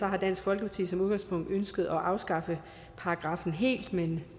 har dansk folkeparti som udgangspunkt ønsket at afskaffe paragraffen helt men